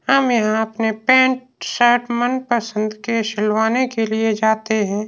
हम यहां अपने पैन्ट शर्ट मनपसंद के सिलवाने के लिए जाते हैं।